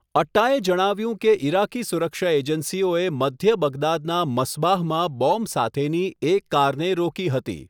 અટ્ટાએ જણાવ્યું કે ઇરાકી સુરક્ષા એજન્સીઓએ મધ્ય બગદાદના મસ્બાહમાં બોમ્બ સાથેની એક કારને રોકી હતી.